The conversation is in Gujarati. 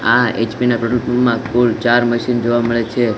આ એચ_પી ના પેટ્રોલ પંપ માં કુલ ચાર મશીન જોવા મળે છે.